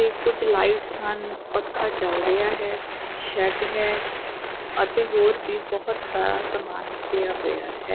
ਤੇ ਕੁਝ ਲਾਈਟਸ ਹਨ ਪੱਖਾ ਚੱਲ ਰਿਹਾ ਹੈ ਸ਼ੈਡ ਹੈ ਅਤੇ ਹੋਰ ਵੀ ਬਹੁਤ ਸਾਰਾ ਸਮਾਨ ਪਿਆ ਹੋਇਆ ਹੈ।